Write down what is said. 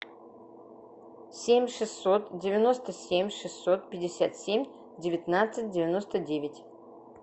семь шестьсот девяносто семь шестьсот пятьдесят семь девятнадцать девяносто девять